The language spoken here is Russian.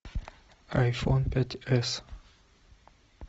айфон пять с